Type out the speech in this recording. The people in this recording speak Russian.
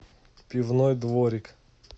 пивной дворик